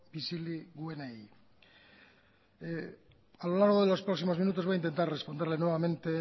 bizilagunei a lo largo de los próximos minutos voy a intentar responderle nuevamente